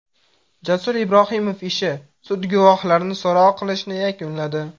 Jasur Ibrohimov ishi: Sud guvohlarni so‘roq qilishni yakunladi.